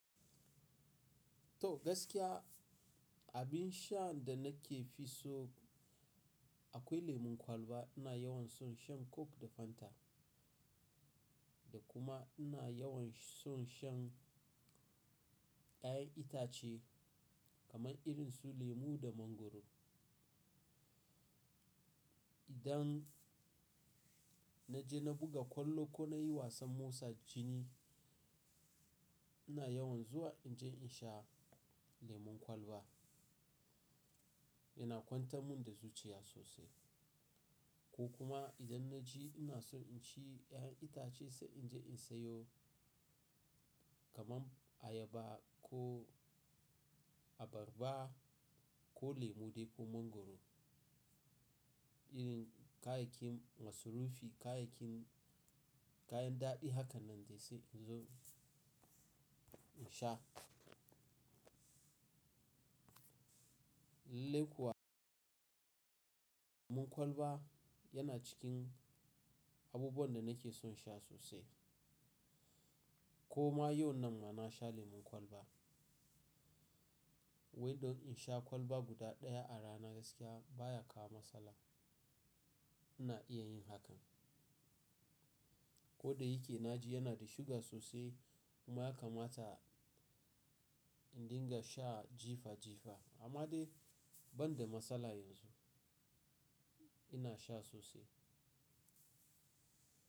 To gaskiya abin shan da nake fi so akwai lemon kwalba. Ina yawan son shan coke da fanta da kuma ina yawan son shan ƴaƴan itace kaman irinsu lemu da mangwaro. Idan na je na buga kwallo ko na yi wasan motsa jini ina yawan zuwa in je in sha lemon kwalba. Ina kwantar mun da zuciya sosai ko kuma idan na ji ina son inci ƴaƴan itace sai in je in sayo kaman ayaba ko abarba ko lemu dai ko mangwaro. Irin kayayyakin masarufi, kayayyakin kayan daɗi hakan nan dai sai in zo in sha. Lallai kuwa lemon kwalba yana cikin abubuwan da nake son sha sosai. Ko ma yau nan ma na sha lemon kwalba. Windo in sha kwalba guda ɗaya a rana gaskiya baya kama matsala. Ina iya yin hakan. Ko da yake na ji yana da suga sosai kuma ya kamata in dinga sha jifa jifa amma dai ban da matsala yanzu ina sha sosai.